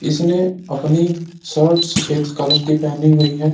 इसने अपनी शर्ट सफेद कलर की पहनी हुई है।